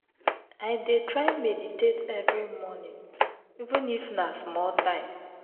i dey try meditate every morning even if na small time.